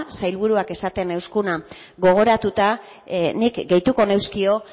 sailburuak esaten ziguna gogoratuta nik gehituko nizkion